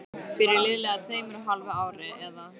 Fyrir liðlega tveimur og hálfu ári, eða